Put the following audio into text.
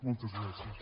moltes gràcies